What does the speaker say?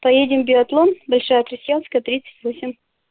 поедем биатлон большая крестьянская тридцать восемь